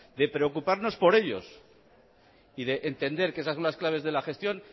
de preocuparnos por ellos y de entender que esas son las claves de la gestión